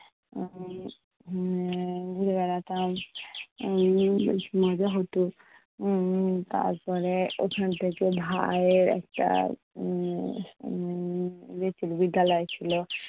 উম মানে ঘুরে বেড়াতাম। এর বেশ মজা হতো। উম তারপরে ওখান থেকে ভাইয়ের একটা উম উম ইয়ে ছিলো বিদ্যালয় ছিলো।